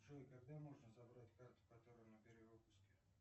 джой когда можно забрать карту которая на перевыпуске